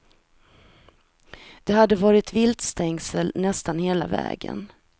Det hade varit viltstängsel nästan hela vägen.